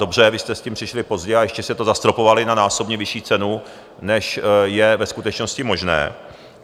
Dobře, vy jste s tím přišli pozdě, a ještě jste to zastropovali na násobně vyšší cenu, než je ve skutečnosti možné.